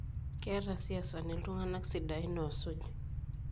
Ketaa isiasani iltung'ana sidain oosuj.